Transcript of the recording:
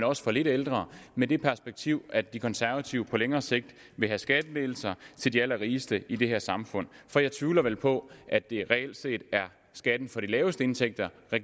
også for lidt ældre med det perspektiv at de konservative på længere sigt vil have skattelettelser til de allerrigeste i det her samfund for jeg tvivler på at det reelt set er skatten for de laveste indtægter